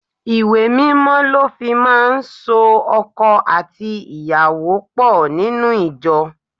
Ìwé Mímọ́ lọ fi máa ń so ọkọ àti ìyàwó pò nínú ìjọ.